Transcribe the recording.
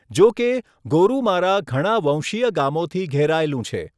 જો કે, ગોરુમારા ઘણા વંશીય ગામોથી ઘેરાયેલું છે.